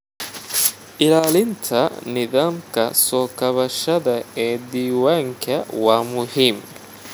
Ilaalinta nidaamka soo kabashada ee diiwaanka waa muhiim.